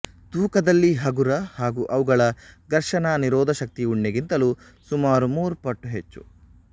ತೂಕದಲ್ಲಿ ಹಗುರ ಹಾಗೂ ಅವುಗಳ ಘರ್ಷಣ ನಿರೋಧಶಕ್ತಿ ಉಣ್ಣೆಗಿಂತಲೂ ಸುಮಾರು ಮೂರು ಪಟ್ಟು ಹೆಚ್ಚು